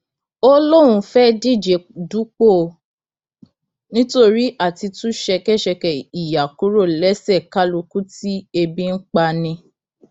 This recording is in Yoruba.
ó lóun fẹẹ díje dupò nítorí àti tú ṣẹkẹṣẹkẹ ìyà kúrò lẹsẹ kálukú tí ebi ń pa ni